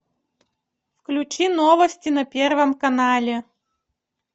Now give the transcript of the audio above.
включи новости на первом канале